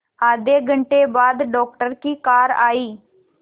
आधे घंटे बाद डॉक्टर की कार आई